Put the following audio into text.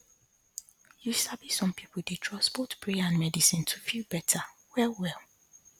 you sabi some pipo dey trust both prayer and medicine to fit feel better well well